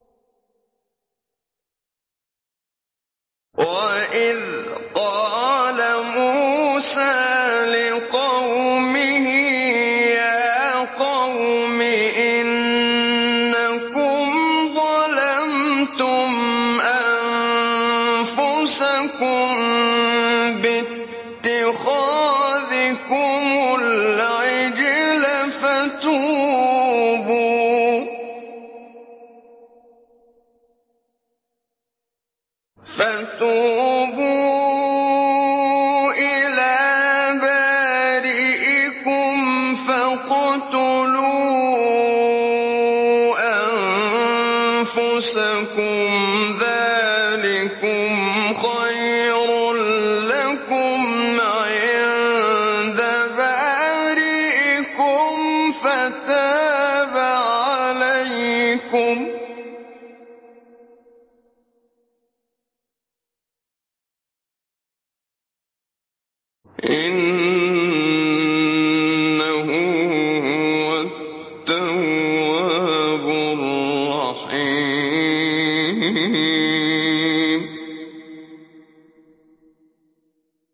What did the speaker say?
وَإِذْ قَالَ مُوسَىٰ لِقَوْمِهِ يَا قَوْمِ إِنَّكُمْ ظَلَمْتُمْ أَنفُسَكُم بِاتِّخَاذِكُمُ الْعِجْلَ فَتُوبُوا إِلَىٰ بَارِئِكُمْ فَاقْتُلُوا أَنفُسَكُمْ ذَٰلِكُمْ خَيْرٌ لَّكُمْ عِندَ بَارِئِكُمْ فَتَابَ عَلَيْكُمْ ۚ إِنَّهُ هُوَ التَّوَّابُ الرَّحِيمُ